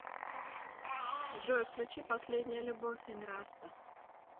джой включи последняя любовь энраста